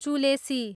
चुलेसी